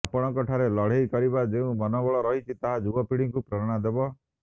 ଆପଣଙ୍କ ଠାରେ ଲଢ଼େଇ କରିବାର ଯେଉଁ ମନୋବଳ ରହିଛି ତାହା ଯୁବପିଢ଼ିକୁ ପ୍ରେରଣା ଦେବ